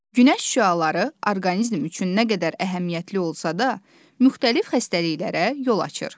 Günəş şüaları orqanizm üçün nə qədər əhəmiyyətli olsa da, müxtəlif xəstəliklərə yol açır.